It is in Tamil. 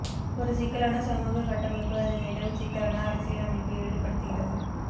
ஒரு சிக்கலான சமூக கட்டமைப்பு அதில் நிலவும் சிக்கலான அரசியல் அமைப்பு ஈடுபடுத்துகிறது